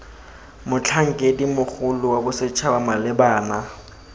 motlhankedi mogolo wa bosetšhaba malebana